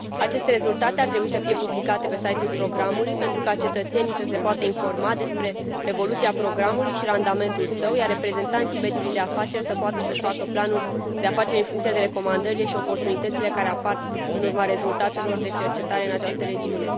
Aceste rezultate ar trebui să fie publicate pe site ul programului pentru ca cetățenii să se poată informa cu privire la evoluția programului și randamentul său, iar reprezentanții mediului de afaceri să poată să își facă planuri de afaceri, în funcție de recomandările și oportunitățile care apar în urma rezultatelor de cercetare în această regiune.